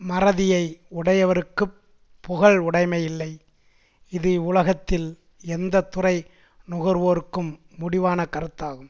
மறதியை உடையவருக்குப் புகழ் உடைமை இல்லை இது இவ்வுலகத்தில் எந்த துறை நுகர்வோருக்கும் முடிவான கருத்தாகும்